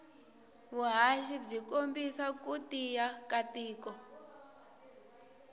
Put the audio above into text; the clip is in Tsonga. vuhhashi bwikombisa kutiya katiko